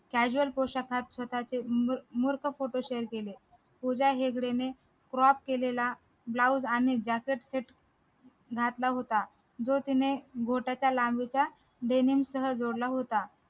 casual पोशाखात स्वताचे photo share केले पूजा हेगडे ने crop केलेला blouse आणि jacket set घातला होता जो तिने बोटाच्या लांबीचा denim सह जोडला होता